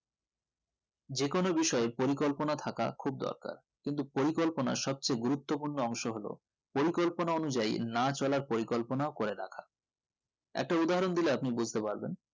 যে কোন বিষয়ে পড়ি কল্পনা থাকা খুব দরকার কিন্তু পরিকল্পনা সব চেয়ে গুরুত্ব পূর্ণ অংশ হলো পরিকল্পনা অনুযায়ী না চলার পরিকল্পনাও করে দেখান একটু উদাহরণ দিলে আপনি বুজতে পারবেন